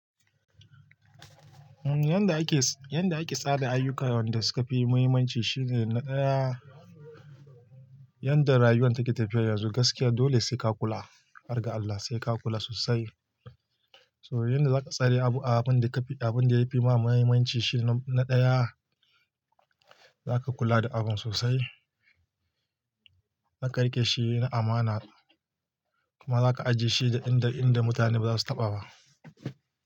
Yanda ake tsara ayyukan wanda suka fi muhimmanci shine na ɗaya, yanda rayuwar take tafiya yanzu gaskiya dole sai ka kula, har ga Allah sai ka kula sosai. To yanda za ka tsara abu abun da ya fi ma muhimmanci shine na ɗaya, za ka kula da abun sosai, za ka riƙe shi amana kuma za ka ajiye shi inda mutane ba za su taɓa ba.